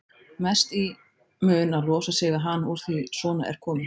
Mest í mun að losa sig við hana úr því að svona er komið.